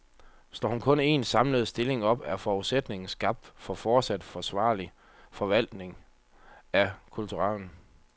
Slår hun kun en, samlet stilling op, er forudsætningen skabt for fortsat forsvarlig forvaltning af kulturarven.